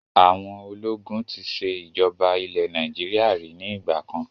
Àwọn ológun tí ṣe ìjọba ilẹ̀ Nàìjíríà ríi ni ìgbàkan